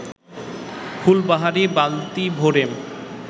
ফুলবাহারি বালতি ভরে